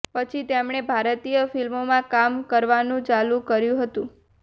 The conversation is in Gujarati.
પછી તેમને ભારતીય ફિલ્મોમાં કામ કરવાનું ચાલુ કર્યું હતું